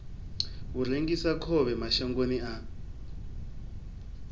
u rengisa khovhe mashangoni a